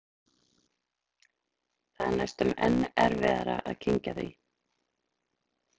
Það er næstum enn erfiðara að kyngja því.